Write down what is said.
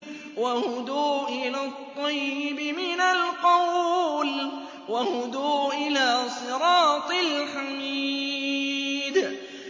وَهُدُوا إِلَى الطَّيِّبِ مِنَ الْقَوْلِ وَهُدُوا إِلَىٰ صِرَاطِ الْحَمِيدِ